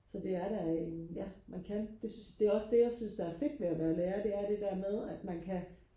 så det er da en ja man kan det er også det jeg synes der er fedt ved at være lærer det er det der med at man kan